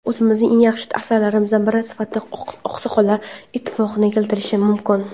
o‘zimning eng yaxshi asarlarimdan biri sifatida "Oqsoqollar ittifoqi"ni keltirishim mumkin.".